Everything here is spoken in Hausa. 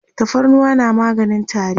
tafarnuwa na maganin tari